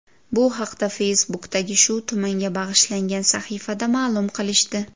Bu haqda Facebook’dagi shu tumanga bag‘ishlangan sahifada ma’lum qilishdi .